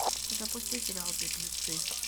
запусти сериал беглецы